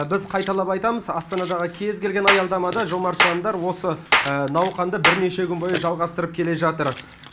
біз қайталап айтамыз астанадағы кез келген аялдамада жомарт жандар осы науқанды бірнеше күн бойы жалғастырып келе жатыр